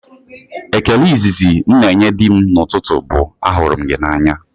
Ekele izizi m na-enye di m n'ụtụtụ bụ, "ahụrụ m gị n'anya"